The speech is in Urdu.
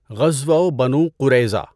غزوۂ بنو قُرَیظَہ